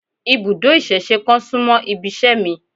Ibùdó ìsẹ̀se kan súmọ́ ibiṣẹ́ mi